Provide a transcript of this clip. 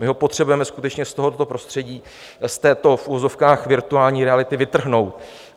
My ho potřebujeme skutečně z tohoto prostředí, z této v uvozovkách virtuální reality vytrhnout.